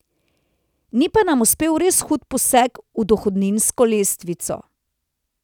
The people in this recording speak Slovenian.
Ni pa nam uspel res hud poseg v dohodninsko lestvico.